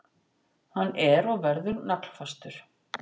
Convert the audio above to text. Hann er og verður naglfastur.